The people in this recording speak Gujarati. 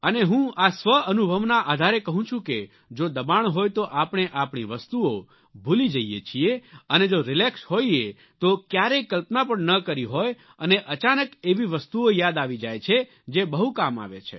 અને આ હું સ્વઅનુભવના આધારે કહું છું કે જો દબાણ હોય તો આપણે આપણી વસ્તુઓ ભૂલી જઈએ છીએ અને જો રિલેક્સ હોઈએ તો ક્યારેય કલ્પના પણ ના કરી હોય અને અચાનક એવી વસ્તુઓ યાદ આવી જાય છે જે બહુ કામ આવે છે